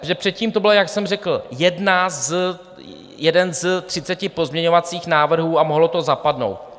Předtím to byl, jak jsem řekl, jeden z třiceti pozměňovacích návrhů a mohlo to zapadnout.